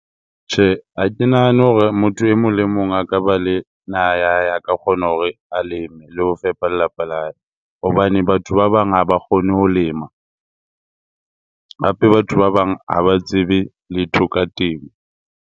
Tjhe, ha ke nahane hore motho e mong le mong a ka ba le naha ya hae, a ka kgona hore a leme le ho fepa lelapa la hae. Hobane batho ba bang ha ba kgone ho lema, hape batho ba bang ha ba tsebe letho ka temo.